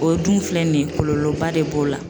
O dun filɛ nin ye kɔlɔlɔba de b'o la